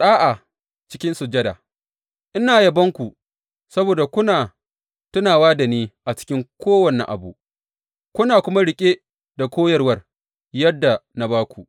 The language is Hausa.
Ɗa’a cikin sujada Ina yabonku saboda kuna tunawa da ni a cikin kowane abu, kuna kuma riƙe da koyarwar, yadda na ba ku.